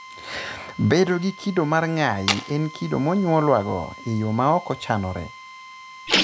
Bedo gi kido mar ng'ayi en kido monyuolwago e yo ma ok ochanore.